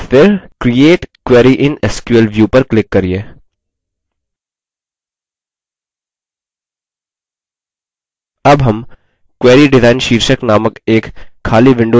और फिर create query in sql view पर click करिये अब हम query design शीर्षक नामक एक खाली window देखते हैं